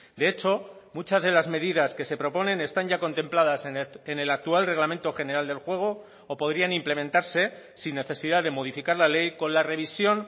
de hecho muchas de las medidas que se proponen están ya contempladas en el actual reglamento general del juego o podrían implementarse sin necesidad de modificar la ley con la revisión